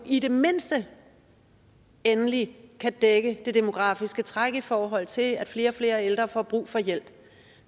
i det mindste endelig kan dække det demografiske træk i forhold til at flere og flere ældre får brug for hjælp